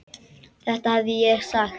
Þetta hefði ég sagt.